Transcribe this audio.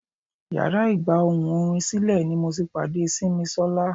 Yàrá ìgba ohùn orin sílè ni mo ti pàdé Simisola.